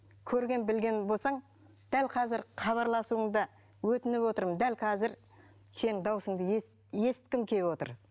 көрген білген болсаң дәл қазір хабарласуыңды өтініп отырмын дәл қазір сенің дауысыңды есіткім келіп отыр